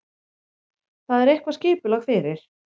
Þar er eitthvað skipulag fyrir.